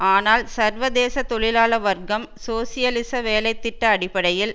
ஆனால் சர்வதேச தொழிலாள வர்க்கம் சோசியலிச வேலை திட்ட அடிப்படையில்